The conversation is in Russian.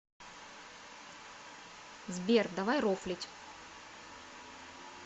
сбер давай рофлить